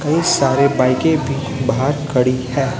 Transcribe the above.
कई सारे बाईके भी बाहर खड़ी है।